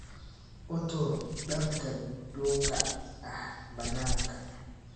Uu tuur dharka duuga ah bananka.